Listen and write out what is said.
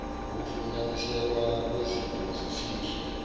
ukufunyaniseka kwezipho zesihle